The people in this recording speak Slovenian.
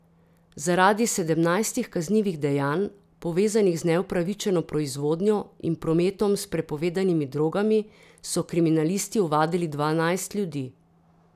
Zaradi sedemnajstih kaznivih dejanj, povezanih z neupravičeno proizvodnjo in prometom s prepovedanimi drogami, so kriminalisti ovadili dvanajst ljudi.